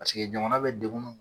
Paseke jamana bɛ degun m